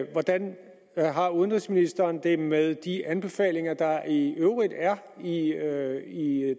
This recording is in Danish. hvordan har udenrigsministeren det med de anbefalinger der i øvrigt er er i